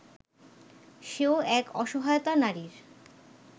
সেও এক অসহায়তা নারীর